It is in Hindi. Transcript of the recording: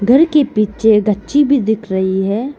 घर के पीछे दछ्छी भी दिख रही है।